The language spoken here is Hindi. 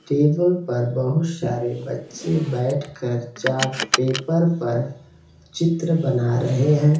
टेबल पर बहुत सारे बच्चे बैठ कर चार्ट पेपर पर चित्र बना रहे हैं |